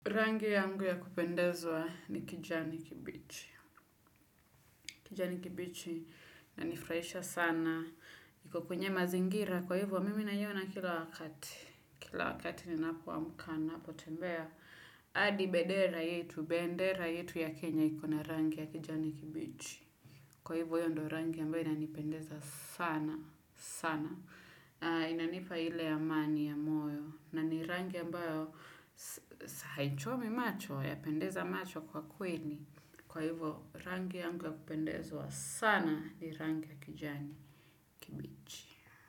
Rangi yangu ya kupendeza ni kijani kibichi, kijani kibichi yanifurahisha sana iko kwenye mazingira, kwa hivo mimi naiona kila wakati. Kila wakati ninapoamka, ninapotembea hadi bendera yetu, bendera yetu ya kenya iko na rangi ya kijani kibichi. Kwa hivo hiyo ndo rangi ambayo inanipendeza sana, sana inanipa ile amani ya moyo na ni rangi ambayo haichomi macho, yapendeza macho kwa kweli kwa hivo rangi yangu yakupendezwa sana ni rangi ya kijani kibichi.